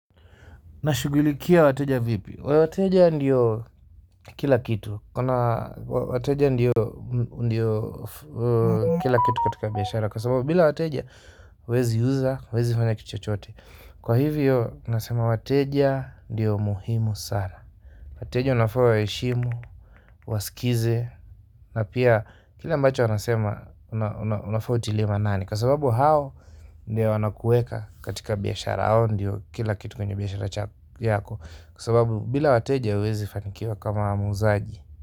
Nashughulikia wateja vipi? Wateja ndiyo kila kitu. Wateja ndiyo kila kitu katika biashara. Kwa sababu bila wateja, huweziuza, huwezifanya kitu chochote. Kwa hivyo, nasema wateja ndiyo muhimu sana. Wateja wanafaa uwaheshimu, uwasikize na pia, kile ambacho anasema, unafaa utilie maanani. Kwa sababu hao, ndio wanakuweka katika biashara. Hao ndiyo kila kitu kwenye biashara chako yako. Kwa sababu bila wateja huwezi fanikiwa kama muuzaji.